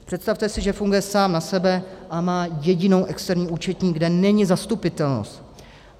Představte si, že funguje sám na sebe a má jedinou externí účetní, kde není zastupitelnost.